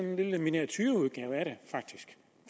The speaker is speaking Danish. en lille miniatureudgave af det